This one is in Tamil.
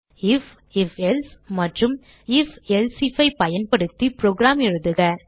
ஐஎஃப் ifஎல்சே மற்றும் ifஎல்சே ஐஎஃப் ஐ பயன்படுத்தி புரோகிராம் எழுதுக